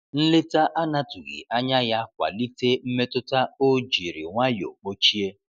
Nleta anatughi anya ya kwalite mmetụta o jiri nwayo kpochie.